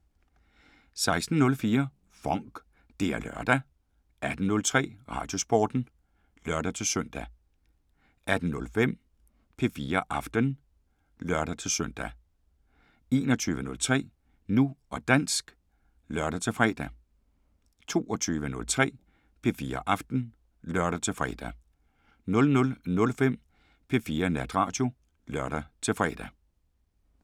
16:04: FONK! Det er lørdag 18:03: Radiosporten (lør-søn) 18:05: P4 Aften (lør-søn) 21:03: Nu og dansk (lør-fre) 22:03: P4 Aften (lør-fre) 00:05: P4 Natradio (lør-fre)